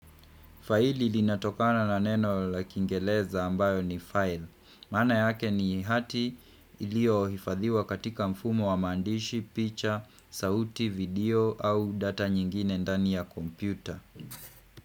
Faili linatokana na neno la kingeleza ambayo ni file. Manaa yake ni hati ilio hifadhiwa katika mfumo wa maandishi, picha, sauti, video au data nyingine ndani ya kompyuta.